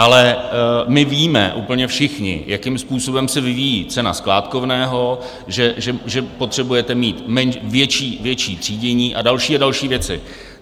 Ale my víme úplně všichni, jakým způsobem se vyvíjí cena skládkovného, že potřebujete mít větší třídění a další a další věci.